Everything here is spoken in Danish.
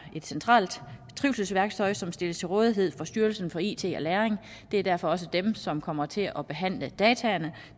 et centralt trivselsværktøj som stilles til rådighed fra styrelsen for it og læring det er derfor også dem som kommer til at behandle dataene